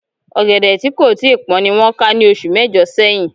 Ọ̀gẹ̀dẹ̀ tí kò tíì pọ́n ni wọ́n ká ní oṣù mẹ́jọ̀ sẹ́yìn